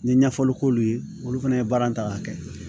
N ye ɲɛfɔli k'olu ye olu fana ye baara in ta k'a kɛ